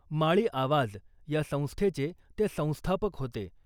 माळी आवाज या संस्थेचे ते संस्थापक होते .